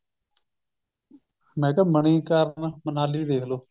ਮੈ ਕਿਆ ਮਨੀਕਰਣ ਮਨਾਲੀ ਦੇਖਲੋ